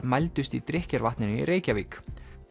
mældust í drykkjarvatninu í Reykjavík